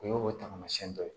O ye o tamasiyɛn dɔ ye